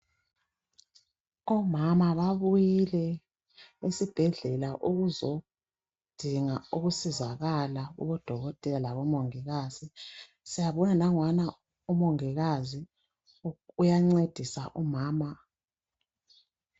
Omama babuyile esibhedlela ukuzodinga ukusizakala kubodokotela lakubo mongikazi nanguyana umongikazi uyancedisa umama.